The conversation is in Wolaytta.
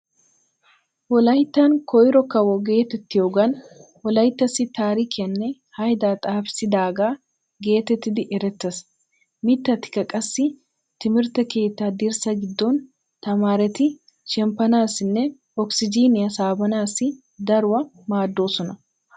Wolayttan koyro kawo geetettiyogan wolayttassi taarikiyanne haydaa xaafissidaagaa geetettidi erettees. Mittatika qassi timirtte keettaa dirssaa giddon tamaareti shemppanaassinne okisijiiniya saabanaassi daruwaa maaddoosona.